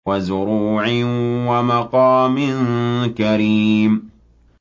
وَزُرُوعٍ وَمَقَامٍ كَرِيمٍ